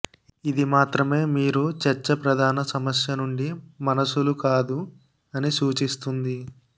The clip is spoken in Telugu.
ఇది మాత్రమే మీరు చర్చ ప్రధాన సమస్య నుండి మనసులు కాదు అని సూచిస్తుంది